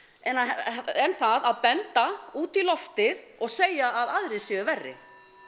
en það að benda út í loftið og segja að aðrir séu verri